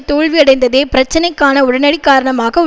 தோல்வியடைந்ததே பிரச்சனைக்கான உடனடி காரணமாக உ